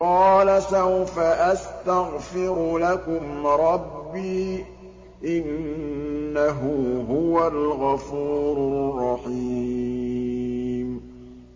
قَالَ سَوْفَ أَسْتَغْفِرُ لَكُمْ رَبِّي ۖ إِنَّهُ هُوَ الْغَفُورُ الرَّحِيمُ